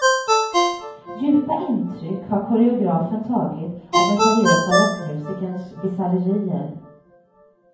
Djupa intryck har koreografen tagit av den seriöse rockmusikerns bisarrerier.